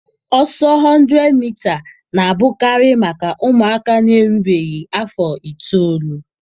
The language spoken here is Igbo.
Ọsọ 100mita na-abụkarị maka ụmụaka na-erubeghị afọ itoolu.